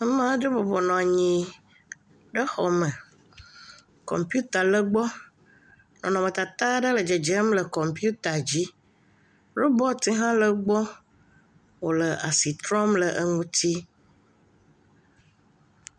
Amaa ɖe bɔbɔ nɔ anyi ɖe xɔme. Kɔmpiuta le egbɔ, nɔnɔmetata aɖe le dzedzem le kɔmpiuta dzi. Robɔti hã le egbɔ wòle asi trɔm le eŋuti.